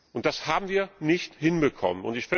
Und das haben wir nicht hinbekommen.